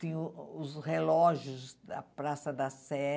Tinha os relógios da Praça da Sé.